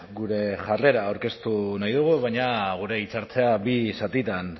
gure jarrera aurkeztu nahi dugu baina gure hitzaldia bi zatitan